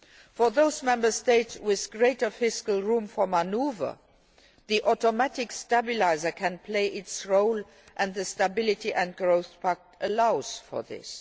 For those Member States with greater fiscal room for manoeuvre, the automatic stabiliser can play its role and the Stability and Growth Pact allows for this.